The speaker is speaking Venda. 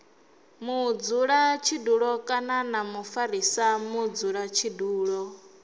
mudzulatshidulo kana na mufarisa mudzulatshidulo